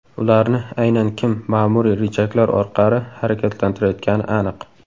Ularni aynan kim ma’muriy richaglar orqali harakatlantirayotgani aniq.